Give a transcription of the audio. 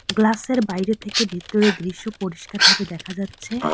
Glass -এর বাইরে থেকে ভিতরে দৃশ্য পরিষ্কারভাবে দেখা যাচ্ছে।